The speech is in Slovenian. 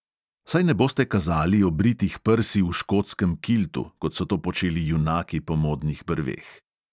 Saj ne boste kazali obritih prsi v škotskem kiltu, kot so to počeli junaki po modnih brveh.